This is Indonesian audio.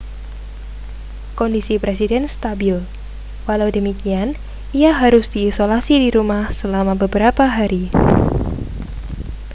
kondisi presiden stabil walau demikian ia harus diisolasi di rumah selama beberapa hari